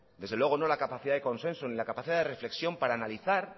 desde luego no la capacidad de consenso ni la capacidad de reflexión para analizar